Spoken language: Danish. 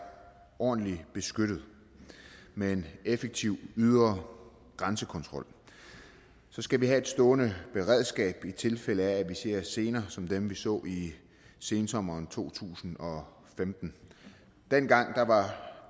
ordentligt beskyttet med en effektiv ydre grænsekontrol skal vi have et stående beredskab i tilfælde af at vi ser scener som dem vi så i sensommeren to tusind og femten dengang var